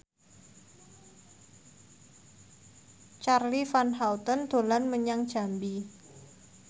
Charly Van Houten dolan menyang Jambi